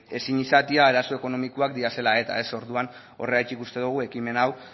ezin izatea arazo ekonomikoak direla eta orduan horregatik uste dogu ekimen hau